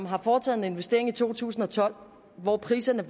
har foretaget en investering i to tusind og tolv hvor priserne